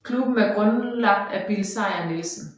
Klubben er grundlagt af Bill Sejr Nielsen